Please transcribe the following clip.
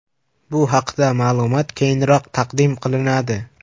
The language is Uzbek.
Bu haqda ma’lumot keyinroq taqdim qilinadi.